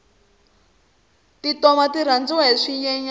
tintoma ti rhandziwa hi swinyenyani